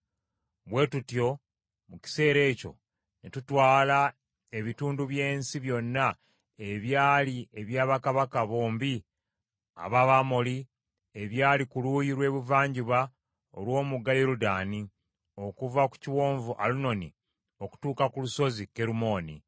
Bwe tutyo mu kiseera ekyo ne tutwala ebitundu by’ensi byonna ebyali ebya bakabaka bombi ab’Abamoli ebyali ku luuyi lw’ebuvanjuba olw’omugga Yoludaani; okuva ku Kiwonvu Alunoni okutuuka ku Lusozi Kerumooni.